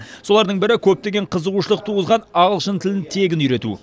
солардың бірі көптеген қызығушылық туғызған ағылшын тілін тегін үйрету